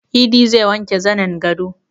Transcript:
Idi zai wanke zanin gado